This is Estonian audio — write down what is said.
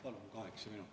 Palun kaheksat minutit.